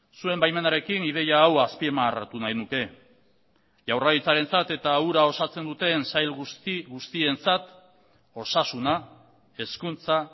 zuen baimenarekin ideia hau azpimarratu nahi nuke jaurlaritzarentzat eta hura osatzen duten sail guzti guztientzat osasuna hezkuntza